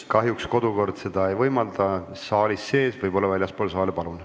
Kahjuks kodukord seda saalis teha ei võimalda, võib-olla teete seda väljaspool saali.